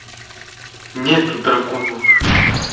нет дракона уже